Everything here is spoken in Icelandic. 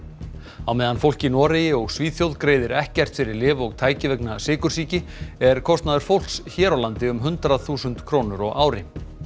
á meðan fólk í Noregi og Svíþjóð greiðir ekkert fyrir lyf og tæki vegna sykursýki er kostnaður fólks hér á landi um hundrað þúsund krónur á ári